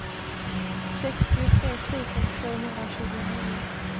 sextiotre tusen tvåhundratjugonio